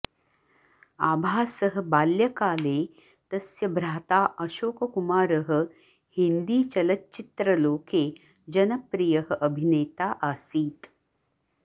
आभासः बाल्यकाले तस्य भ्राता अशोककुमारः हिन्दीचलच्चित्रलोके जनप्रियः अभिनेता आसीत्